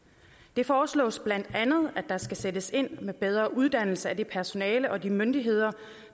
det foreslås bla at der skal sættes ind med bedre uddannelse af det personale og de myndigheder